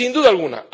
Sin duda alguna.